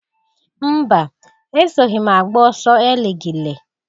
Mba! Esoghi m agba ọsọ eligili.